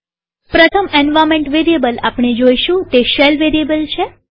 પ્રથમ environment variable આપણે જોઈશું તે શેલ વેરીએબલ છે